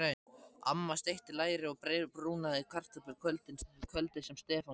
Amma steikti læri og brúnaði kartöflur kvöldið sem Stefán kom.